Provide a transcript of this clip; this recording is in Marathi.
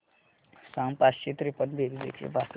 सांग पाचशे त्रेपन्न बेरीज एकशे पासष्ट